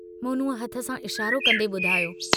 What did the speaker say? मोनूअ हथ सां इशारो कन्दे बुधायो।